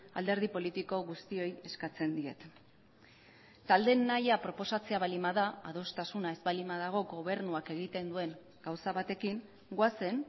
alderdi politiko guztioi eskatzen diet taldeen nahia proposatzea baldin bada adostasuna ez baldin badago gobernuak egiten duen gauza batekin goazen